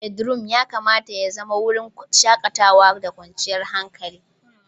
Bedroom ya kamata ya zama wurin shakatawa da kwanciyar hankali.